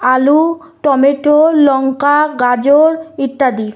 আলু টমেটো লঙ্কা গাজর ইত্যাদি।